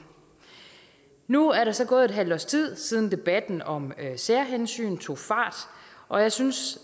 nu er der så gået et halvt års tid siden debatten om særhensyn tog fart og jeg synes